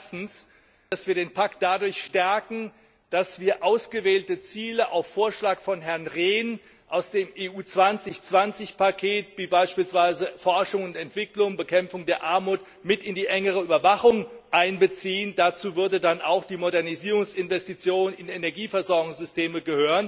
Nämlich erstens, dass wir den Pakt dadurch stärken, dass wir ausgewählte Ziele auf Vorschlag von Herrn Rehn aus dem EU 2020 Paket wie beispielsweise Forschung und Entwicklung, Bekämpfung der Armut mit in die engere Überwachung einbeziehen. Dazu würde dann auch die Modernisierungsinvestition in Energieversorgungssysteme gehören.